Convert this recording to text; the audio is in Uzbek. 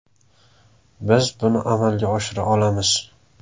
Biz buni amalga oshira olamiz.